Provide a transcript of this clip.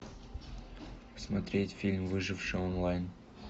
смотреть фильм выживший онлайн